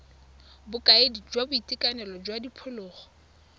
bokaedi jwa boitekanelo jwa diphologolo